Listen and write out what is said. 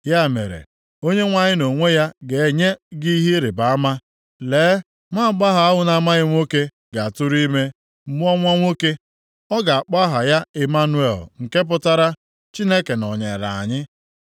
Ya mere, Onyenwe anyị nʼonwe ya ga-enye gị ihe ịrịbama! Lee, nwaagbọghọ ahụ na-amaghị nwoke ga-atụrụ ime, mụọ nwa nwoke. Ọ ga-akpọ aha ya Ịmanụel, nke pụtara, Chineke nọnyeere anyị.